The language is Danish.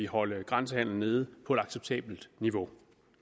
holde grænsehandelen nede på et acceptabelt niveau